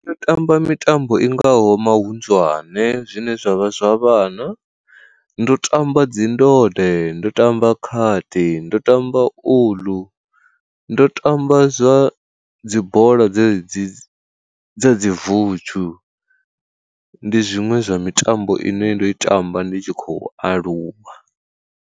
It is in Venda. Ndo tamba mitambo i ngaho mahunḓwane zwine zwavha zwa vhana, ndo tamba dzi ndode, nda tamba khadi ndo tamba uḽu, ndo tamba zwa dzi bola dze dzi dza dzi vudzhu, ndi zwiṅwe zwa mitambo ine ndo i tamba ndi tshi khou aluwa.